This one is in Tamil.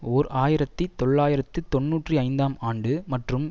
ஓர் ஆயிரத்தி தொள்ளாயிரத்து தொன்னூற்றி ஐந்தாம் ஆண்டு மற்றும்